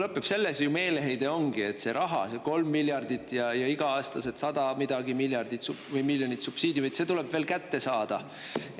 Selles see meeleheide ongi, et see raha, see 3 miljardit ja iga-aastased 100 midagi miljonit subsiidiumi – see tuleb veel kätte saada.